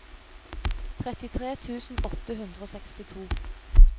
trettitre tusen åtte hundre og sekstito